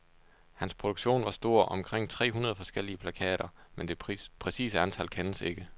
Hans produktion var stor, omkring tre hundrede forskellige plakater, men det præcise antal kendes ikke.